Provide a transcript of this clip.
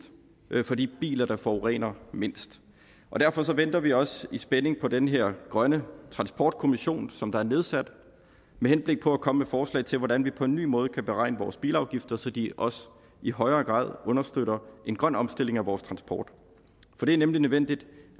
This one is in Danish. for de biler der forurener mindst derfor venter vi også i spænding på den her grønne transportkommission som er nedsat med henblik på at komme med forslag til hvordan vi på en ny måde kan beregne vores bilafgifter så de også i højere grad understøtter en grøn omstilling af vores transport for det er nemlig nødvendigt